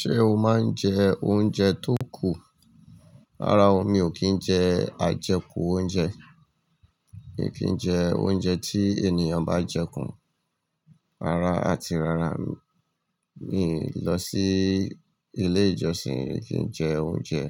Ṣé o máa ń jẹ oúnjẹ tó kù? Rárá o, mi ò kí ń jẹ àjẹkù oúnjẹ. Mi kí ń jẹ oúnjẹ tí ènìyàn bá jẹ kùn. Rárá, a ti rárá mi lọ sí ilé-ìjọsìn rí kí ń jẹ oúnjẹ,